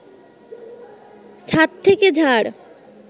ছাদ থেকে ঝাড়